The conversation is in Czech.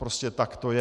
Prostě tak to je.